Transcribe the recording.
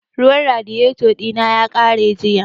Ruwan radiyeto ɗina ya ƙare jiya